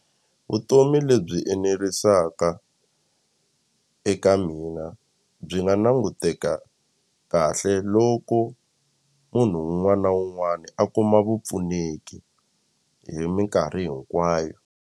Vutomi lebyi enerisaka eka mina byi nga languteka kahle loko munhu wun'wani na wun'wani a kuma vupfuneki hi minkarhi hinkwayo.